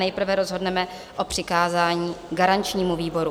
Nejprve rozhodneme o přikázání garančnímu výboru.